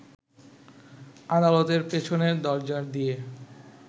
আদালতের পেছনের দরজা দিয়ে